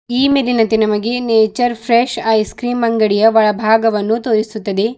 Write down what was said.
ಈ ಮೇಲಿನಂತೆ ನಮಗೆ ನೇಚರ್ ಫ್ರೆಶ್ ಐಸ್ ಕ್ರೀಮ್ ಅಂಗಡಿಯ ಒಳಭಾಗವನ್ನು ತೋರಿಸುತ್ತದೆ.